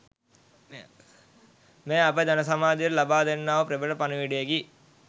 මෙය අප ජනසමාජයට ලබාදෙන්නා වූ ප්‍රබල පණිවිඩයකි.